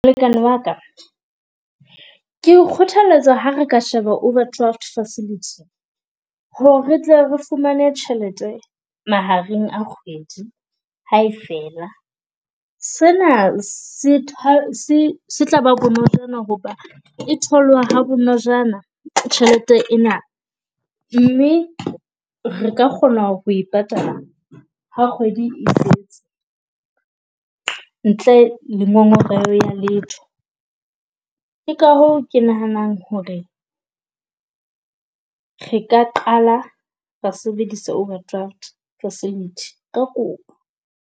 Molekane wa ka ke o kgothaletsa ha re ka sheba overdraft facility, ho re re tle re fumane tjhelete mahareng a kgwedi, ha e fela. Se na se se tla ba bonojana ho ba e tholwa ha bonojana tjhelete ena. Mme re ka kgona ho e patala ha kgwedi , ntle le ngongoreho ya letho. Ke ka hoo ke nahanang ho re re ka qala ra sebedisa overdraft facility ka kopo.